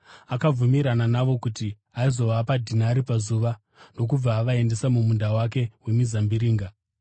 Akabvumirana navo kuti aizovapa dhinari pazuva, ndokubva avaendesa mumunda wake wemizambiringa.